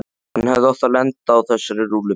Hann hefði átt að lenda á þessari rúllupylsu.